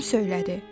Bim söylədi.